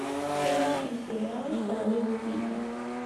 поищи сериал королевы крика